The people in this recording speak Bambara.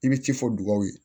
I bɛ ci fɔ dugawuw ye